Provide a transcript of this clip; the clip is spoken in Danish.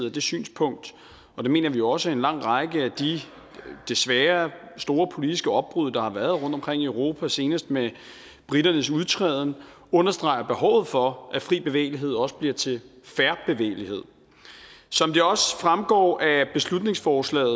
af det synspunkt og det mener vi også at en lang række af de desværre store politiske opbrud der har været rundtomkring i europa senest med briternes udtræden understreger behovet for at fri bevægelighed også bliver til fair bevægelighed som det også fremgår af beslutningsforslaget